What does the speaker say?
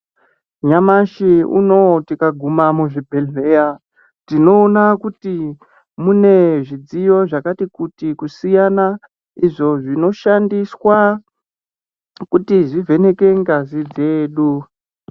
Nyamushi unoo tikaguma muchibhedhlera tinoona kuti mune zvidziyo zvakati kuti kusiyana izvo zvinoshandiswe kuvheneka ngazi dzedu.